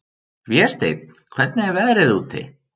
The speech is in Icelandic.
Vésteinn, hvernig er veðrið úti?